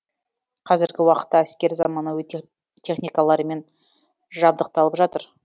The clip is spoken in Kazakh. қазіргі уақытта әскер заманауи техникалармен жабдықталып жатыр